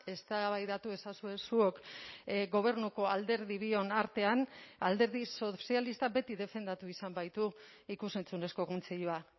eztabaidatu ezazue zuok gobernuko alderdi bion artean alderdi sozialistak beti defendatu izan baitu ikus entzunezko kontseilua